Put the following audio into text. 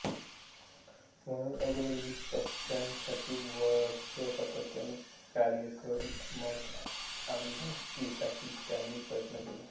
म्हणूनच अगोदर वीस पक्षासाठी वर्ष सातत्याने कार्य करून मग आमदारकीसाठी त्यांनी प्रयत्न केला